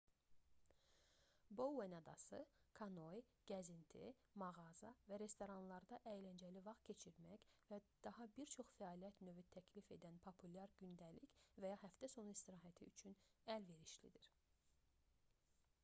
bouen adası kanoe gəzinti mağaza və restoranlarda əyləncəli vaxt keçirmək və daha bir çox fəaliyyət növü təklif edən populyar gündəlik və ya həftəsonu istirahəti üçün əlverişlidir